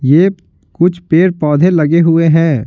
ये कुछ पेड़-पौधे लगे हुए हैं।